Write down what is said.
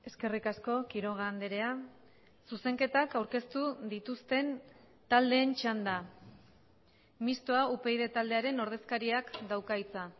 eskerrik asko quiroga andrea zuzenketak aurkeztu dituzten taldeen txanda mistoa upyd taldearen ordezkariak dauka hitza